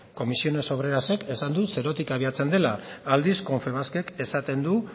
comisiones obrerasek esan du zerotik abiatzen dela aldiz confebaskek esaten du